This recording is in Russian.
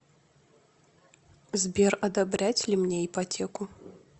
сбер одобрять ли мне ипотеку